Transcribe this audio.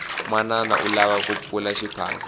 manana u lava ku pfula xiphaza